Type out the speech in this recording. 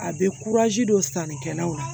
A bɛ don sannikɛlaw la